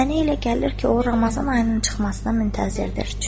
Mənə elə gəlir ki, o Ramazan ayının çıxmasına müntəzirdir.